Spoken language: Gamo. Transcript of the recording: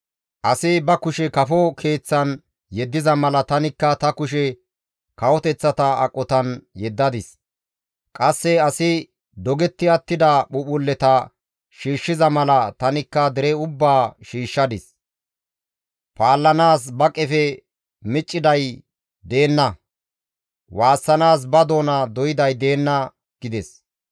Asi ba kushe kafo keeththan yeddiza mala tanikka ta kushe kawoteththata aqotan yeddadis. Qasse asi dogetti attida phuuphphulleta shiishshiza mala tanikka dere ubbaa shiishshadis. Paallanaas ba qefe micciday deenna; waassanaas ba doona doyday deenna» gides.